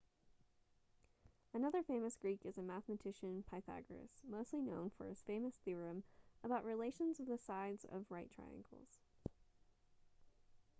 another famous greek is a mathematician pythagoras mostly known for his famous theorem about relations of the sides of right triangles